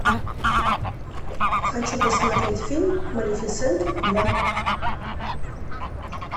хочу посмотреть фильм малефисента два